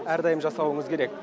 әрдайым жасауыңыз керек